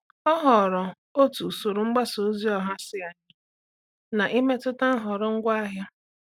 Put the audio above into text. Ọ́ hụ̀rụ̀ otú usoro mgbasa ozi ọha sí ányá n’ị́métụ́tá nhọrọ ngwaahịa.